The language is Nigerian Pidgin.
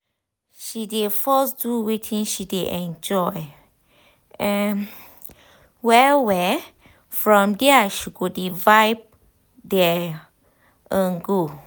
she dey first do wetin she dey enjoy um well well from dia she go dey vibe dey um go